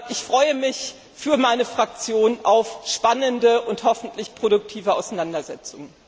Ich freue mich für meine Fraktion auf spannende und hoffentlich produktive Auseinandersetzungen. BRK